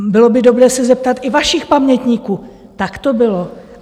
Bylo by dobré se zeptat i vašich pamětníků, tak to bylo.